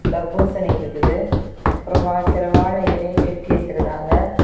தர்பூசணி இருக்குது அப்றமா சில வாழெ இலையை கட்டி வச்சிருக்காங்க.